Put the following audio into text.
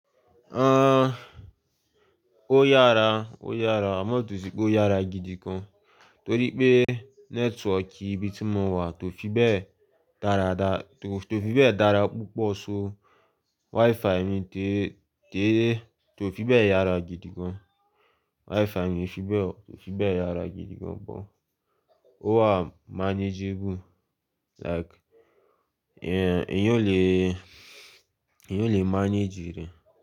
Ah, ó yára, ó yára. Àmọ́ o to sí pé ó yára gidi gan, torí pé network ibi tí mo wà tó fi bẹ́ẹ̀ dáradá, tó fi bẹ́ẹ̀ dára púpọ̀ so. Wi-Fi mi tí tó fi bẹ́ẹ̀ yára gidi gan. Wi-Fi mi ò fi bẹ́ẹ̀, tó fi bẹ́ẹ̀ yára gidi gan, but ó wà manageable. Like, ehn, èyàn lè, èyàn lè manage rẹ̀